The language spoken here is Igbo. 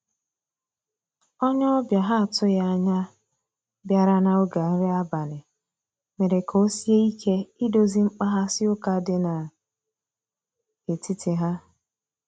onye obia ha atughi anya biara na oge nri abali mere ka osie ike idozi mkpaghasi uka di na etiti ha.